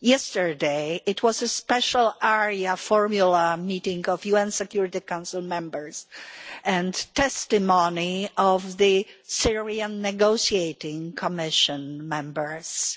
Yesterday there was a special area formula meeting of UN Security Council members, with testimony of the Syrian negotiating commission members